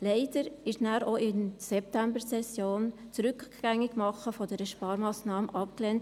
Leider wurde danach in der Septembersession auch das Rückgängigmachen dieser Sparmassnahme abgelehnt.